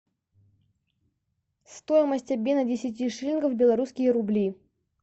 стоимость обмена десяти шиллингов в белорусские рубли